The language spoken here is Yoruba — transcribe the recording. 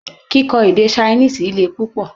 Kíkọ́ èdè Ṣainíìsì le pupọ